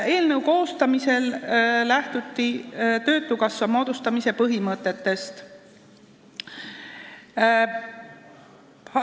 Eelnõu koostamisel lähtuti töötukassa moodustamise põhimõtetest.